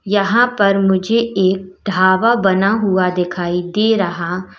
यहां पर मुझे एक ढाबा बना हुआ दिखाई दे रहा --